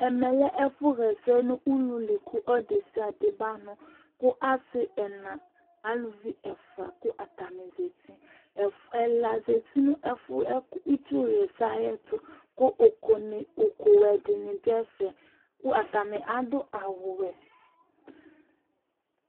Ɛmɛ lɛ ɛƒu ɣɛsɛ nʋ ʋluli kʋ ɔlu desiade ba nu kʋ asi ɛna, alʋvi ɛfʋa kʋ atani zɛti Ɛla zɛti nʋ itsu ɣɛsɛ yɛ tu kʋ ʋku wɛ dìní du ɛfɛ kʋ atani adu awu wɛ